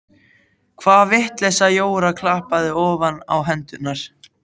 Hvaða vitleysa Jóra klappaði ofan á hendurnar.